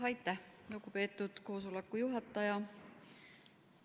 Aitäh, lugupeetud koosoleku juhataja!